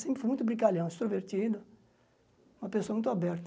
Sempre fui muito brincalhão, extrovertido, uma pessoa muito aberta.